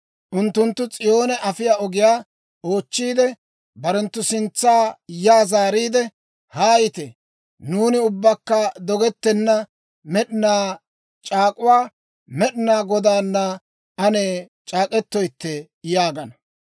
Unttunttu S'iyoone afiyaa ogiyaa oochchiide, barenttu sintsa yaa zaariide, ‹Haayite!› Nuuni ubbakka dogettenna med'inaa c'aak'uwaa Med'inaa Godaana ane c'aak'k'eteetto yaagana.